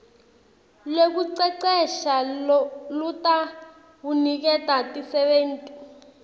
lwekucecesha lolutawuniketa tisebenti